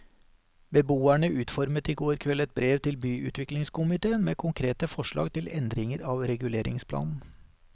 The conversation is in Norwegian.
Beboerne utformet i går kveld et brev til byutviklingskomitéen med konkrete forslag til endringer av reguleringsplanen.